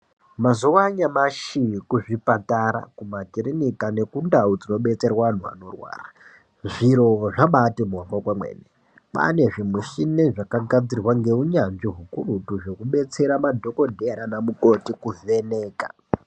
Mazuva anyamashi kuzvipatara, kumakiriniki nekundau dzinobetserwa anhu anorwara zviro zvabaati mhoryo kwemene. Kwaane zvimuchini zvakagadzirwa ngeunyanzvi hukurutu zvekubetsera madhokodheya nanamukoti kuvheneka.